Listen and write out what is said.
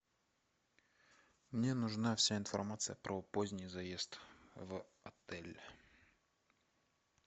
мне нужна вся информация про поздний заезд в отель